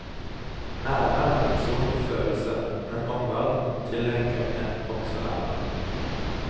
Ære er en personlig følelse, men omverdenen tillegger en også ære.